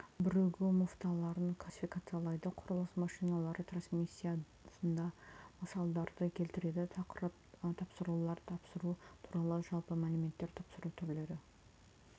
бірігу муфталарын классификациялайды құрылыс машиналары трансмиссиясына мысалдарды келтіреді тақырып тапсырулар тапсыру туралы жалпы мәліметтер тапсыру түрлері